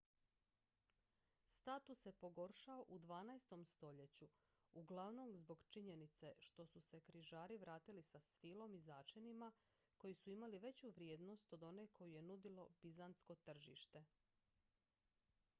status se pogoršao u dvanaestom stoljeću uglavnom zbog činjenice što su se križari vratili sa svilom i začinima koji su imali veću vrijednost od one koju je nudilo bizantsko tržište